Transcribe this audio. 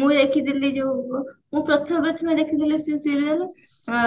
ମୁଁ ଦେଖିଥିଲି ଯଉ ମୁଁ ପ୍ରଥମେ ପ୍ରଥମେ ଦେଖିଥିଲି ସେ serial ଆ